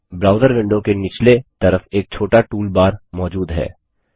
browser window के नीचले तरफ एक छोटा टूलबार मौजूद है